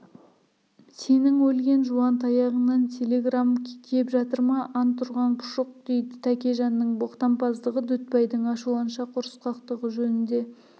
сенің өлген жуантаяғыңнан телеграмм кеп жатыр ма антұрған пұшық дейді тәкежанның боқтампаздығы дүтбайдың ашуланшақ ұрысқақтығы жөнінде